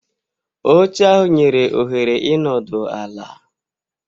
Oche ahụ nyere ohere ịnọdụ ala.